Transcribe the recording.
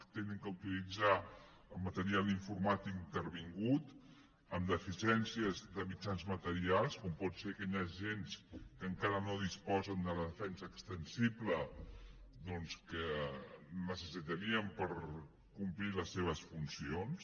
han d’utilitzar el material informàtic intervingut amb deficiències de mitjans materials com pot ser que hi hagi agents que encara no disposen de la defensa extensible doncs que necessitarien per complir les seves funcions